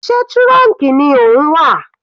Sé trunk ni ó ń wà?